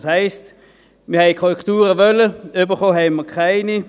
Das heisst, wir wollten Korrekturen, erhalten haben wir keine.